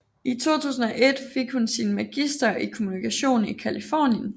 I 2001 fik hun sin magister i kommunikation i Californien